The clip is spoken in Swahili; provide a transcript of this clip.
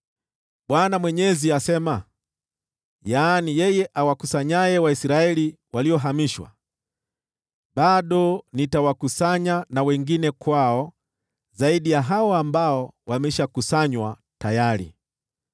Bwana Mwenyezi asema, yeye awakusanyaye Waisraeli waliohamishwa: “Bado nitawakusanya wengine kwao zaidi ya hao ambao wamekusanywa tayari.”